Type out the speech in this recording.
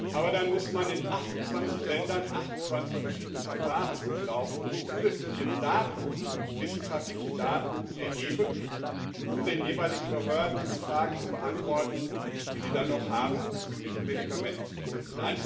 Aber dann muss man in 28 Ländern 28 verschiedene Verfahren durchlaufen und zusätzliche Daten wissenschaftliche Daten erheben, um den jeweiligen Behörden die Fragen zu beantworten, die sie dann noch zu diesem Medikament haben.